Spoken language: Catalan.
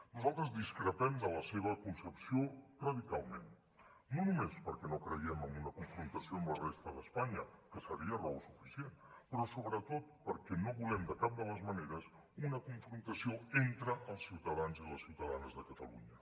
nosaltres discrepem de la seva concepció radicalment no només perquè no creiem en una confrontació amb la resta d’espanya que seria raó suficient però sobretot perquè no volem de cap de les maneres una confrontació entre els ciutadans i les ciutadanes de catalunya